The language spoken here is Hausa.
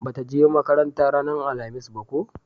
ba ta je makaranta ranar alhamis ba ko?